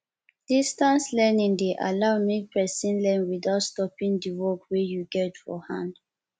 distance learning de allow make persin learn without stoping di work wey you get for hand